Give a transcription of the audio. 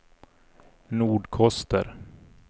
Nordkoster